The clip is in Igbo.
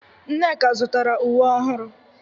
Nneka zụtara uwe ọhụrụ.